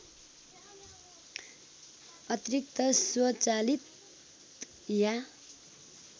अतिरिक्त स्वचालित या